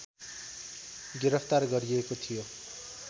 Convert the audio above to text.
गिरफ्तार गरिएको थियो